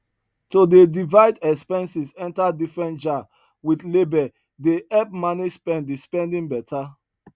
to dey divide expenses enter different jar with label dey help manage spending spending beta